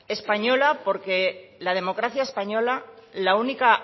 española porque la democracia española la única